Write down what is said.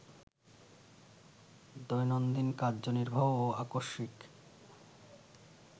দৈনন্দিন কার্যনির্বাহ ও আকস্মিক